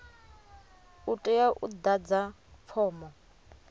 u tea u ḓadza fomo